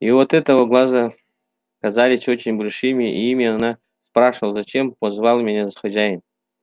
и от этого глаза казались очень большими и ими она спрашивала чем позвал меня хозяин